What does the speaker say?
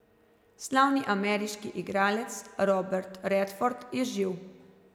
Slavni ameriški igralec Robert Redford je živ.